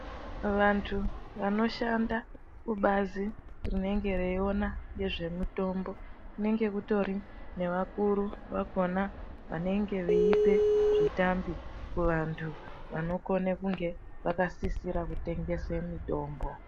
Vanthu vanoshanda kubazi rinonga reiwona ngezvemitombo, kunenge kutori nevakuru vakhona vanenge veipa zvitambi kuvanthu ,vanokone kunge vakasisira kutengese mitombo.